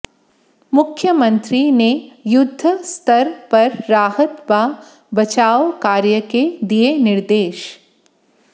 मुख्यमंत्री ने युद्ध स्तर पर राहत व बचाव कार्य के दिए निर्देश